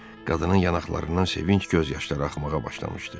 Qadının yanaqlarından sevinc göz yaşları axmağa başlamışdı.